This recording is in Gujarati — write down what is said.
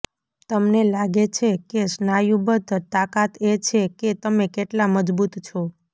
તમને લાગે છે કે સ્નાયુબદ્ધ તાકાત એ છે કે તમે કેટલા મજબૂત છો